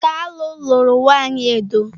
Kalu luru nwanyi Edo.